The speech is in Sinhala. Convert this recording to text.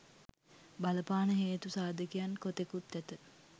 බලපාන හේතු සාධකයන් කොතෙකුත් ඇත.